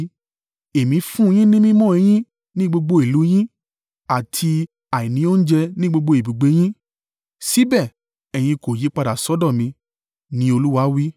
“Èmi fún un yín ní mímọ́ eyín ní gbogbo ìlú yín, àti àìní oúnjẹ ní gbogbo ibùgbé yín, síbẹ̀, ẹ̀yin kò yípadà sọ́dọ̀ mi,” ni Olúwa wí.